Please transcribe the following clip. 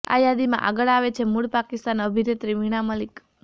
આ યાદીમાં આગળ આવે છે મૂળ પાકિસ્તાની અભિનેત્રી વીણા મલિક